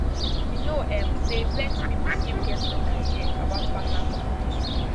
you know um say plenty people still get wrong idea about partner communication